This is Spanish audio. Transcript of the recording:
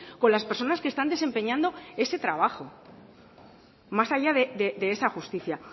con las personas que están desempeñando ese trabajo más allá de esa justicia